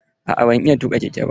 Aa ban iya tuƙa keke ba.